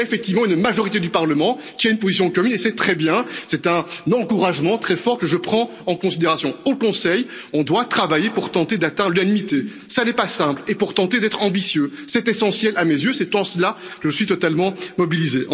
Mais il y a effectivement une majorité du Parlement qui a une position commune et c'est très bien, c'est un encouragement très fort que je prends en considération. Au Conseil, nous devons travailler pour tenter d'atteindre l'unanimité, cela n'est pas simple et pour tenter d'être ambitieux c'est essentiel à mes yeux, c'est en cela que je suis totalement mobilisé.